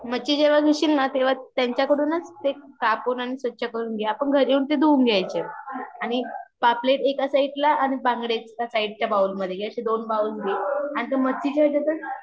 मच्छी जेव्हा नेशील ना तेव्हा त्यांच्या कडूनच ते कापून आणि स्वच्छ करून घे आपण घरी येऊन ते धुवून घ्यायचे आणि पापलेट एका साइड ला आणि बंगड़ी एका साइड च्या बाउल मधे हे आशे दोन बाउल आणि तो मच्छी च्या पण चवि नुसार मीट टाक, हळद टाक मसाला टाक आणि ते सगळ मिक्स करून घे म्हणजे मच्छीला लागेल असे ठेवायचे दोन्ही पण आणि एका